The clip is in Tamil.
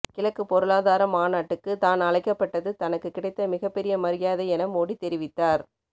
கிழக்கு பொருளாதார மாநாட்டுக்கு தான் அழைக்கப்பட்டது தனக்கு கிடைத்த மிகப்பெரிய மரியாதை என மோடி தெரிவித்தார்